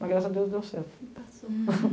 Mas, graças a Deus, deu certo. Passou